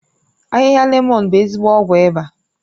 Ahịhịa lemọ̀n bụ ezigbo ọgwụ ịba